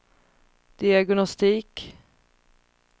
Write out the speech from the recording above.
diagnostik